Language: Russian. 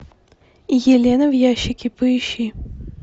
елена в ящике поищи